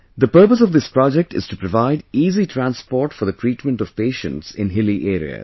The purpose of this project is to provide easy transport for the treatment of patients in hilly areas